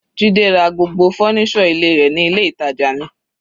Jide ra gbogbo fọ́nísọ̀ ilé rẹ̀ ní ilé ìtàjà mi.